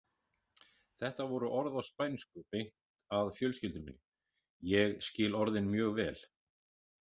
Þetta voru orð á spænsku beint að fjölskyldu minni, ég skil orðin mjög vel.